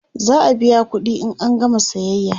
za'a biya ƙuɗi in an gama sayayya